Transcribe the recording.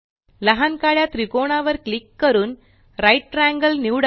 लहान काळ्या त्रिकोणावर क्लिक करून राइट ट्रायंगल निवडा